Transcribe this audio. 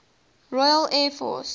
royal air force